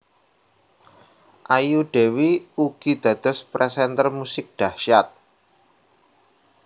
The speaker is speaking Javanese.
Ayu Dewi ugi dados presenter musik dahsyat